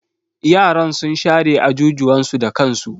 Yaran sun share ajujuwan su da kansu.